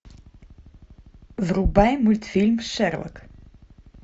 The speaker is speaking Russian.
врубай мультфильм шерлок